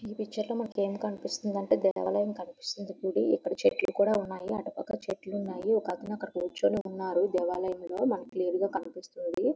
ఈ పిక్చర్లో మనకేం కనిపిస్తుంది అంటే ఒక దేవాలయం గుడి చెట్లు కూడా ఉన్నాయి. అటు పక్కన చెట్లు పక్కన కొంతమంది కూర్చుని ఉన్నారు దేవాలయంలో. మనకి క్లియర్ గా కనిపిస్తుంది.